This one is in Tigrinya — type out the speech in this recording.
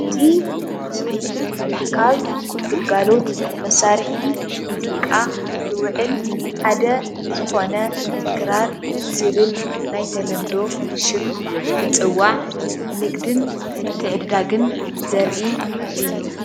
እዚ ምስሊ ካብ ግልጋሎት መሳርሒ ሙዚቃ ዝውዕል ሓደ ዝኾነ ክራር ብዝብል ናይ ተለምዶ ሽም ዝፅዋዕ ንግድን ምትዕድዳግን ዘርኢ እዩ፡፡